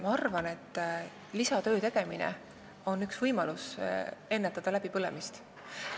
Ma arvan, et lisatöö tegemine on üks võimalus ennetada läbipõlemist.